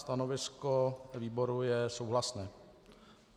Stanovisko výboru je souhlasné.